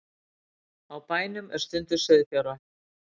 Á bænum er stunduð sauðfjárrækt